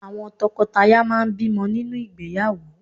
Àwọn tọkọtaya máà ń bímọ nínú ìgbéyàwó.